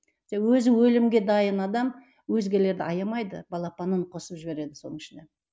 өзі өлімге дайын адам өзгелерді аямайды балапанын қосып жібереді соның ішіне